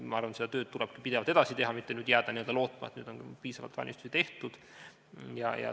Ma arvan, et seda tööd tulebki pidevalt edasi teha, mitte jääda lootma, et nüüd on piisavalt ettevalmistusi tehtud.